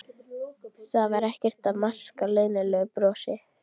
Það var þá ekkert að marka leynilegu brosin!